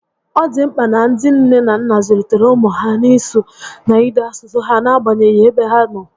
Ọ dị mkpa na ndị nne na nna zụlitere ụmụ ha n'isụ na n'ide asụsụ ha n'agbanyeghị ebe ha nọ